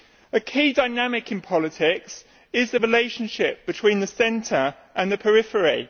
A key dynamic in politics is the relationship between the centre and the periphery.